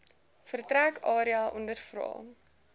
vertrek area ondervra